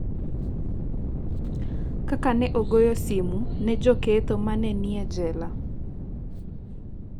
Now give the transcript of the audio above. Kaka ne agoyo simu ne joketho ma ne ni e jela